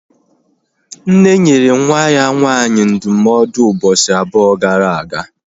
Nne nyere nwa ya nwaanyị ndụmọdụ ụbọchị abụọ gara aga